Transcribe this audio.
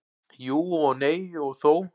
Jú og nei og þó.